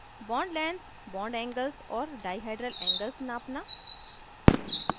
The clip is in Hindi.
* bond lengths bond angles और डाइहाइड्रल angles नापना